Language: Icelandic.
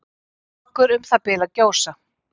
Strokkur um það bil að gjósa.